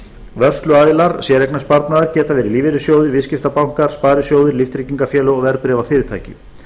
vörsluaðilar séreignarsparnaðar geta verið lífeyrissjóðir viðskiptabankar sparisjóðir líftryggingafélög og verðbréfafyrirtæki